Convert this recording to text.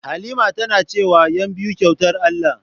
Halima tana cewa "ƴanbiyu kyautar Allah"